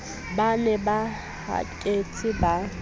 ba ne ba haketse ba